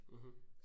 Mh